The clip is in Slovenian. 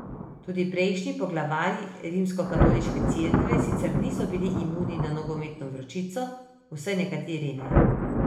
Tudi prejšnji poglavarji Rimskokatoliške cerkve sicer niso bili imuni na nogometno vročico, vsaj nekateri ne.